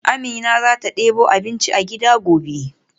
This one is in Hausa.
Amina zata debo abinci a gida gobe.